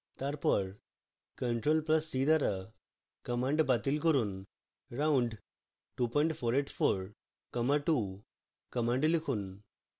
তারপর ctrl + c দ্বারা command বাতিল করুন round 2484 comma 2 command লিখুন